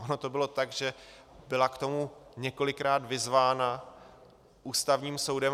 Ono to bylo tak, že byla k tomu několikrát vyzvána Ústavním soudem.